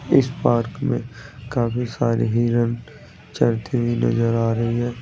इस पार्क मे काफी सारे हिरन चरते हुए नजर आ रहे हैं।